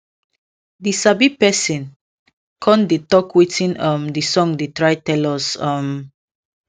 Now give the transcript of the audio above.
the sabi person con dey talk wetin um the song dey try tell us um